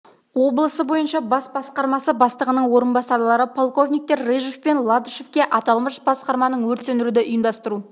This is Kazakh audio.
облысы бойынша бас басқармасы бастығының орынбасарлары полковниктер рыжов пен ладышевке аталмыш басқарманың өрт сөндіруді ұйымдастыру